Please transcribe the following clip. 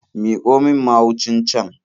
Miƙo min mahucin can.